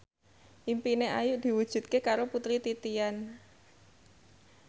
impine Ayu diwujudke karo Putri Titian